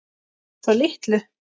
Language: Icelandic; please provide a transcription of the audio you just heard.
Svo litlu.